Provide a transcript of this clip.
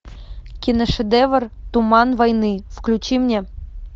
киношедевр туман войны включи мне